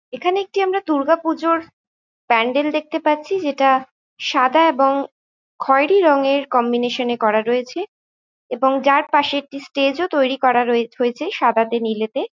এইখানে একটি আমরা দূর্গা পুজোর প্যান্ডেল দেখতে পাচ্ছি যেটা সাদা এবং খয়েরি রঙের কম্বিনেশন করা রয়েছে এবং যার পাশে একটা স্টেজ ও তৈরি করা রয় হয়েছে সাদাতে নিলেতে।